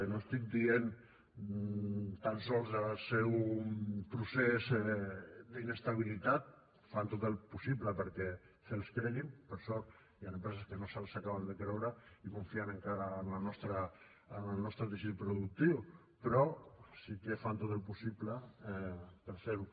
i no estic dient tan sols del seu procés d’inestabilitat fan tot el possible perquè se’ls creguin per sort hi han empreses que no se’ls acaben de creure i confien encara en el nostre teixit productiu però sí que fan tot el possible per fer ho